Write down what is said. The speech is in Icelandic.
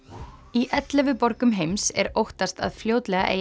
í ellefu borgum heims er óttast að fljótlega eigi